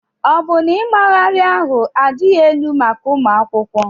Ọ bụ na ịmagharị ahụ adịghị elu maka ụmụ akwụkwọ?